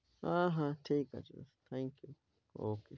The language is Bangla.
হ্যাঁ হ্যাঁ ঠিক আছে Thank you, okay.